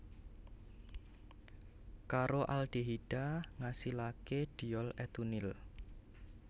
Karo aldehida ngasilaké diol etunil